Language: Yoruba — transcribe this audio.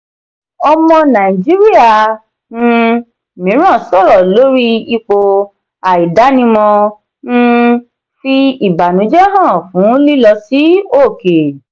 ọmọ nàìjíríà um mìíràn sọ̀rọ̀ lórí ipò àìdánimọ̀ um fi ìbànújẹ́ hàn fún lílọ sí òkè.